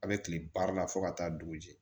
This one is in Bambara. A bɛ kile baara la fo ka taa dugu jɛ